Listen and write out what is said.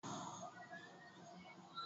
Katọlik bụ ụdị ụka Ndị Kraịst